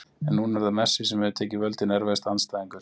en núna er það messi sem hefur tekið völdin Erfiðasti andstæðingur?